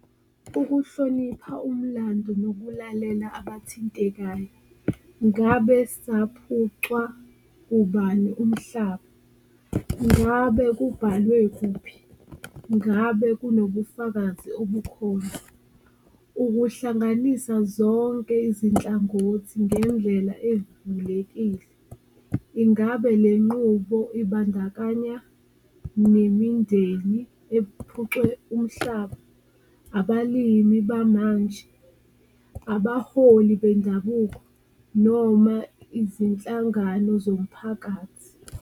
Ukuhlonipha umlando nokulalela abathintekayo ngabe saphucwa ubani umhlaba? Ngabe kubhalwe kuphi? Ngabe kunobufakazi obukhona? Ukuhlanganisa zonke izinhlangothi, ngendlela evulekile, ingabe le nqubo ibandakanya nemindeni ephucwe umhlaba, abalimi bamanje, abaholi bendabuko noma izinhlangano zomphakathi?